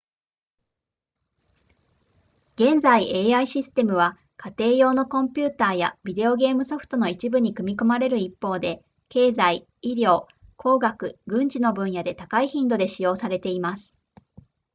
現在 ai システムは家庭用のコンピュータやビデオゲームソフトの一部に組み込まれる一方で経済医療工学軍事の分野で高い頻度で使用されています